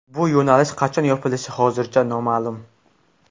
Bu yo‘nalish qachon yopilishi hozircha noma’lum.